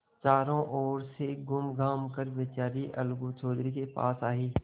चारों ओर से घूमघाम कर बेचारी अलगू चौधरी के पास आयी